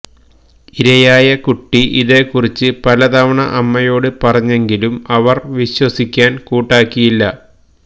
ഇരയായ കുട്ടി ഇതേക്കുറിച്ച് പല തവണ അമ്മയോട് പറഞ്ഞെങ്കിലും അവര് വിശ്വസിക്കാന് കൂട്ടാക്കിയില്ല